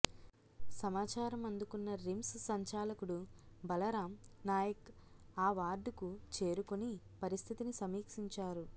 సమాచారం అందుకున్న రిమ్స్ సంచాలకుడు బలరాం నాయక్ ఆ వార్డుకు చేరుకుని పరిస్థితిని సమీక్షించారు